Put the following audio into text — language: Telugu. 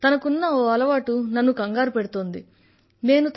కానీ తనకున్న ఒక అలవాటు నన్ను కంగారుపెడుతోంది